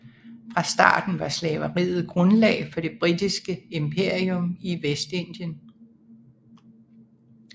Fra starten var slaveriet grundlag for det britiske imperium i Vestindien